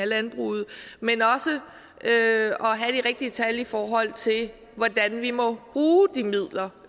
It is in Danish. landbruget men også at have de rigtige tal i forhold til hvordan vi må bruge de midler